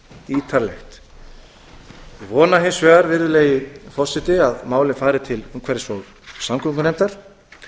ítarlegt ég vona hins vegar virðulegi forseti að málið fari til umhverfis og samgöngunefndar